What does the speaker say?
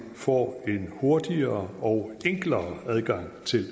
får en hurtigere og enklere adgang til